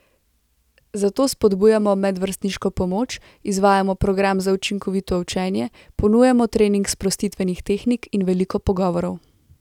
Zato spodbujamo medvrstniško pomoč, izvajamo program za učinkovito učenje, ponujamo trening sprostitvenih tehnik in veliko pogovorov.